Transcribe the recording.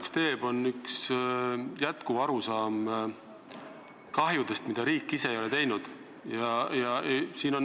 Mind teeb murelikuks püsiv arusaam kahjudest, mida riik ise ei ole põhjustanud.